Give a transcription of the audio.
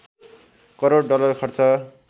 crore dollar खर्च